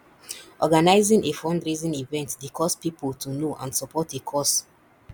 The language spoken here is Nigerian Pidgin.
organizing a fundraising event dey cause pipo to know and support a cause